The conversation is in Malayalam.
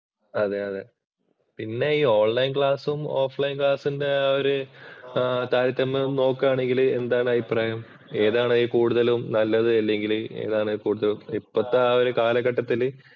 അതെ, അതെ പിന്നെയും ഓൺലൈൻ ക്ലാസും, ഓഫ്‌ലൈൻ ക്ലാസ്സിൻ്റെ താരതമ്യം നോക്കുകയാണെങ്കിൽ എന്താണ് അഭിപ്രായം? ഏതാണ് കൂടുതൽ നല്ലത് അല്ലെങ്കിൽ ഏതാണ് ഇപ്പോഴത്തെ കാലഘട്ടത്തിൽ